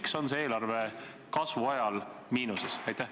Miks on see eelarve kasvu ajal miinuses?